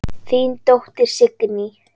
Þín dóttir, Signý.